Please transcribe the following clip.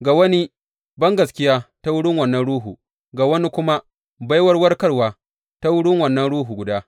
Ga wani bangaskiya ta wurin wannan Ruhu, ga wani kuma baiwar warkarwa ta wurin wannan Ruhu guda.